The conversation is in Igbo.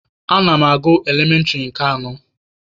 Ana m agụ elementịrị nke anọ.